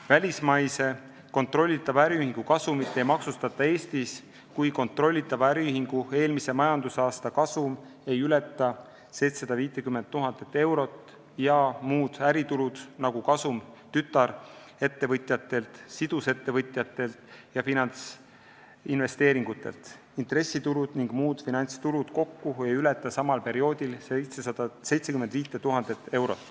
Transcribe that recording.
Välismaise kontrollitava äriühingu kasumit ei maksustata Eestis, kui kontrollitava äriühingu eelmise majandusaasta kasum ei ületa 750 000 eurot ja muud äritulud, kasum tütarettevõtjatelt, sidusettevõtjatelt ja finantsinvesteeringutelt, intressitulud ning muud finantstulud kokku ei ületa samal perioodil 75 000 eurot.